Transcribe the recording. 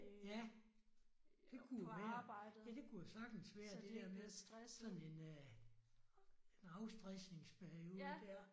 Ja. Det kunne jo være. Ja det kunne jo sagtens være det der med sådan en øh en afstresningsperiode der